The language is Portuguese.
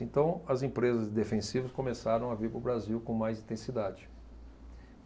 Então as empresas defensivas começaram a vir para o Brasil com mais intensidade.